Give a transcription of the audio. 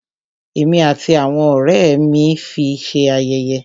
Ẹ̀mí àti àwọn ọ̀rẹ́ ẹ́ mí fi ṣé yẹ̀yẹ́.